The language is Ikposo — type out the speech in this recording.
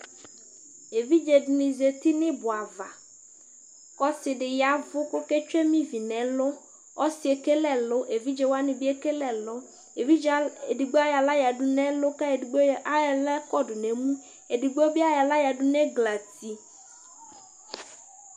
evidze dini zati n'ibɔ ava k'ɔse di yavu k'oke tsue ma ivi n'ɛlu ɔsiɛ ekele ɛlu evidze wani bi ekele ɛlu evidze edigbo ayɔ ala yadu n'ɛlu k'ayɔ edigbo ala kɔdò n'emu edigbo bi ayɔ ala yadu n'ɛglati